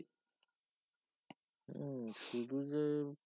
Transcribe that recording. হম শুধু যে